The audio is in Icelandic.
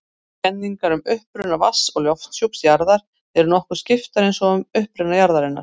Kenningar um uppruna vatns- og lofthjúps jarðar eru nokkuð skiptar eins og um uppruna jarðar.